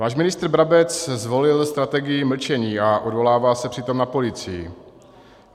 Váš ministr Brabec zvolil strategii mlčení a odvolává se přitom na policii.